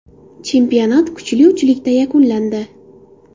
Chempionat kuchli uchlikda yakunlandi.